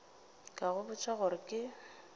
ka go botša gore ke